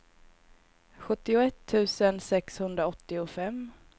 sjuttioett tusen sexhundraåttiofem